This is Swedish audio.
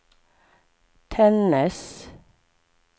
Tännäs